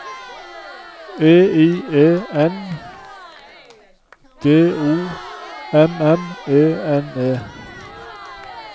E I E N D O M M E N E